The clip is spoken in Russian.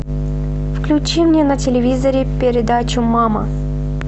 включи мне на телевизоре передачу мама